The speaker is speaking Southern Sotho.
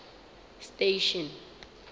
station